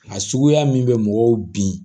A suguya min bɛ mɔgɔw bin